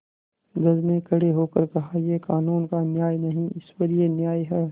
जज ने खड़े होकर कहायह कानून का न्याय नहीं ईश्वरीय न्याय है